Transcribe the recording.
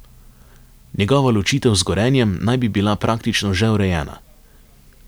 Njegova ločitev z Gorenjem naj bi bila praktično že urejena.